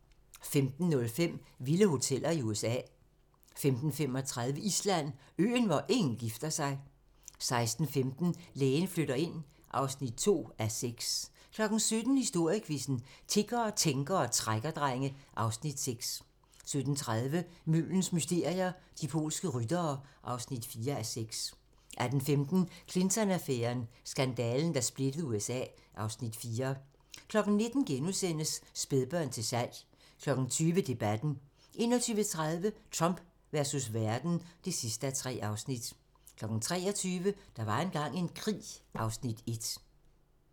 15:05: Vilde hoteller: USA 15:35: Island: Øen, hvor ingen gifter sig 16:15: Lægen flytter ind (2:6) 17:00: Historiequizzen: Tiggere, tænkere og trækkerdrenge (Afs. 6) 17:30: Muldens mysterier - De polske ryttere (4:6) 18:15: Clinton-affæren: Skandalen, der splittede USA (Afs. 4) 19:00: Spædbørn til salg * 20:00: Debatten 21:30: Trump versus verden (3:3) 23:00: Der var engang en krig (Afs. 1)